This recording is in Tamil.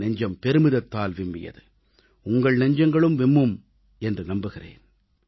என் நெஞ்சம் பெருமிதத்தால் விம்மியது உங்கள் நெஞ்சங்களும் விம்மும் என்று நம்புகிறேன்